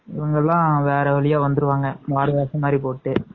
இவங்க எல்லாம் வேற வழியா வந்துருவாங்க வேற வேஷம் மாதிரி போட்டு